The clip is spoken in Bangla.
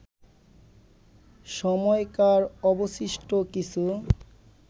সময়কার অবশিষ্ট কিছু